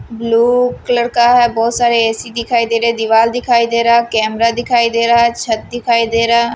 blue colour का बहुत सारे ए_सी दिखाई दे रहे दीवार दिखाई दे रहा कैमरा दिखाई दे रहा है छत दिखाई दे रहा--